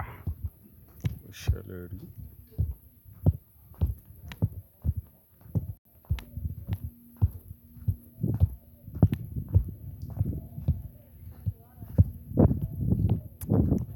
Ah, ko ṣe lẹ́rì.